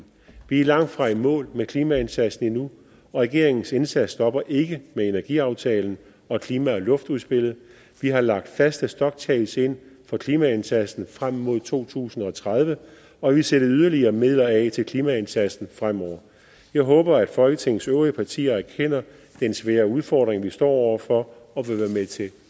vi er langtfra i mål med klimaindsatsen endnu regeringens indsats stopper ikke med energiaftalen og klima og luftudspillet vi har lagt faste stoptjek ind for klimaindsatsen frem mod to tusind og tredive og vi sætter yderligere midler af til klimaindsatsen fremover jeg håber at folketingets øvrige partier erkender den svære udfordring vi står over for og vil være med til